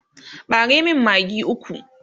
ɓare min maggi ukwu!